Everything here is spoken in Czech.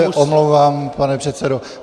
Já se omlouvám, pane předsedo.